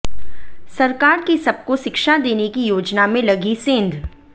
सरकार की सबको शिक्षा देने की योजना में लगी सेंध